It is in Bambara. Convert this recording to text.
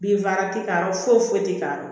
Binfagalan tɛ k'a yɔrɔ foyi tɛ k'a